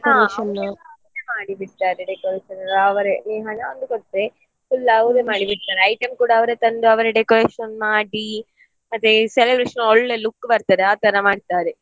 ಹಾ ಅವ್ರೆ ಎಲ್ಲ ready ಮಾಡಿ ಬಿಡ್ತಾರೆ decoration ಎಲ್ಲ ನೀನೊಂದು ಹಣ ಒಂದು ಕೊಟ್ರೆ full ಅವ್ರೆ ಮಾಡಿ ಬಿಡ್ತಾರೆ item ಕೂಡ ಅವರೇ ತಂದು decoration ಮಾಡಿ ಮತ್ತೆ celebration ಗೆ ಒಳ್ಳೆ look ಬರ್ತದೆ ಆ ತರ ಮಾಡ್ತಾರೆ.